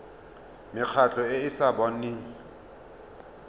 mekgatlho e e sa boneng